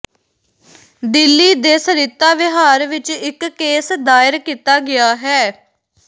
ਦਿੱਲੀ ਦੇ ਸਰਿਤਾ ਵਿਹਾਰ ਵਿੱਚ ਇੱਕ ਕੇਸ ਦਾਇਰ ਕੀਤਾ ਗਿਆ ਹੈ